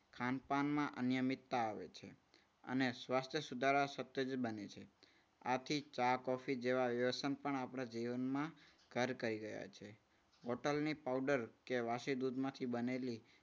ખાન પાનમાં અનિયમિતતા આવે છે. અને સ્વાસ્થ્ય સુધારા સાથે જ બને છે. આથી ચા કોફી જેવા વ્યસન પણ આપણે જીવનમાં ઘર કરી રહ્યા છે. હોટલની પાવડર કે વાસી દૂધમાંથી બનેલી